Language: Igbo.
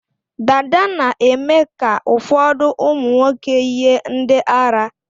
Dada na-eme ka ụfọdụ ụmụnwoke yie ndị ara.